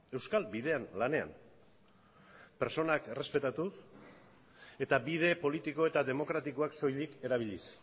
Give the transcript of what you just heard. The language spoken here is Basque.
euskal bidean lanean pertsonak errespetatuz eta bide politiko eta demokratikoak soilik erabiliz